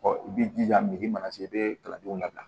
i b'i jija mana se i bɛ kalandenw labila